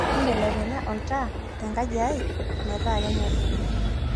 imbelekenya oltaa te nkaji ai metaa kenyori